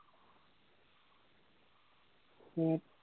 উম